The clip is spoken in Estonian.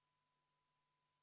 Palun võtta seisukoht ja hääletada!